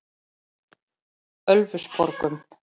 Ölfusborgum